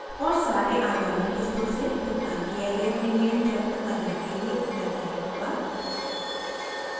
और सारे आगामी किस्तों से भुगतान किया गया प्रीमियम ज़ब्त करने के लिए उत्तरदायी होगा